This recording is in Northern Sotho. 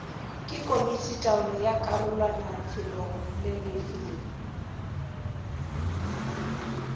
ke komititaolo ya karolwanafeloolefe le